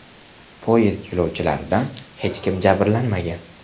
Poyezd yo‘lovchilaridan hech kim jabrlanmagan.